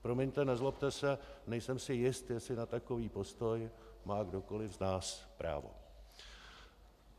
Promiňte, nezlobte si, nejsem si jist, jestli na takový postoj má kdokoliv z nás právo.